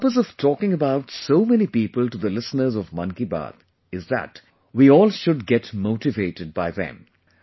the purpose of talking about so many people to the listeners of 'Mann Ki Baat' is that we all should get motivated by them